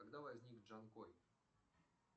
когда возник джанкой